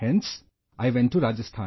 Hence I went to Rajasthan